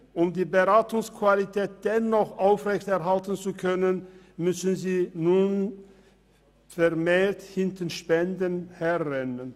Um die Beratungsqualität dennoch aufrechterhalten zu können, müssen sie nun vermehrt hinter Spenden herrennen.